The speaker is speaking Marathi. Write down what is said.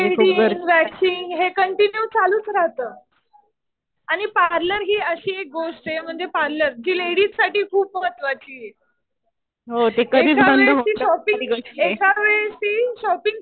थ्रेडींग, वॅक्सिन्ग हे कंटिन्यू चालूच राहतं. आणि पार्लर हि अशी एक गोष्ट आहे म्हणजे कि पार्लर जी लेडीजसाठी खूप महत्वाची आहे. एका वेळेस ती शॉपिंग, एका वेळेस ती शॉपिंग